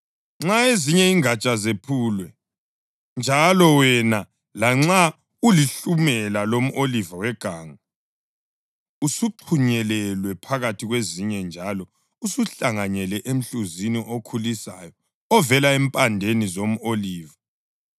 Nxa ezinye ingatsha zephulwe, njalo wena, lanxa ulihlumela lomʼoliva weganga, usuxhunyelelwe phakathi kwezinye njalo usuhlanganyela emhluzini okhulisayo ovela empandeni zomʼoliva,